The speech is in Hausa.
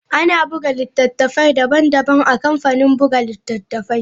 Ana buga littattafai daban-daban a kamfanin buga littattafai.